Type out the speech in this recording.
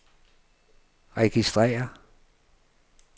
registrér